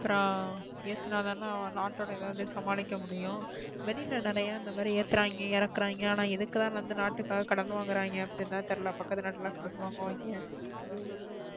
அப்பறம் ஏத்துன தான நாட்டோட நிலைமைய சமாளிக்க முடியும். வெளில நிறைய எத்துரைங்க இறக்குரைங்க அபாரம் எதுக்கு தான் அந்த நாட்டுக்கு காக கடன் வங்க்ரைங்க அப்டி தான் தெரியலா பக்கத்து நாட்டுல கடன் வங்க்ரைங்க.